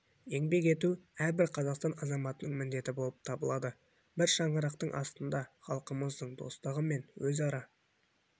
еңбек ету әрбір қазақстан азаматының міндеті болып табылады бір шаңырақтың астындағы халқымыздың достығы мен өзара